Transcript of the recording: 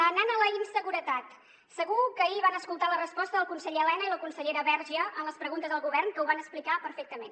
anant a la inseguretat segur que ahir van escoltar la resposta del conseller elena i la consellera verge en les preguntes al govern que ho van explicar perfectament